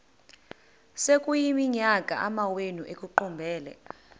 sekuyiminyaka amawenu ekuqumbele